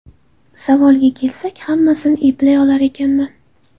Savolga kelsak, hammasini eplay olar ekanman!